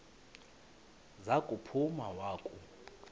za kuphuma wakhu